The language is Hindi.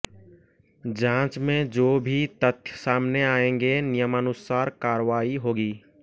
जांच में जो भी तथ्य सामने आएंगे नियमानुसार कार्रवाई होगी